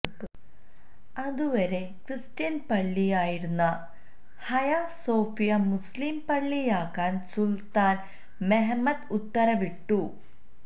അതുവരെ ക്രിസ്ത്യന് പള്ളി ആയിരുന്ന ഹയ സോഫിയ മുസ്ലിം പള്ളിയാക്കാന് സുല്ത്താന് മെഹമ്മത് ഉത്തരവിട്ടു